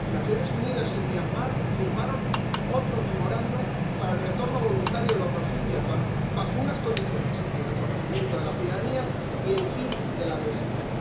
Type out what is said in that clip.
Las Naciones Unidas y Myanmar firmaron otro memorándum para el retorno voluntario de los rohinyás bajo unas condiciones el reconocimiento de la ciudadanía y el fin de la violencia.